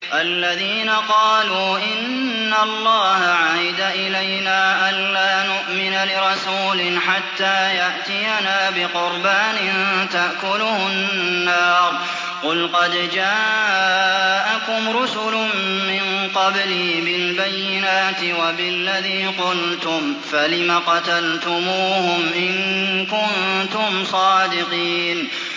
الَّذِينَ قَالُوا إِنَّ اللَّهَ عَهِدَ إِلَيْنَا أَلَّا نُؤْمِنَ لِرَسُولٍ حَتَّىٰ يَأْتِيَنَا بِقُرْبَانٍ تَأْكُلُهُ النَّارُ ۗ قُلْ قَدْ جَاءَكُمْ رُسُلٌ مِّن قَبْلِي بِالْبَيِّنَاتِ وَبِالَّذِي قُلْتُمْ فَلِمَ قَتَلْتُمُوهُمْ إِن كُنتُمْ صَادِقِينَ